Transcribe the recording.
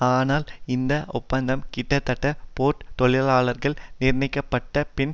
ஆனால் இந்த ஒப்பந்தம் கிட்டத்தட்ட போர்ட் தொழிலாளர்களால் நிராகரிக்கப்பட்ட பின்